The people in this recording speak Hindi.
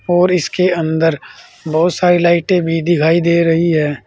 और इसके अंदर बहोत सारी लाइटें भी दिखाई दे रही है।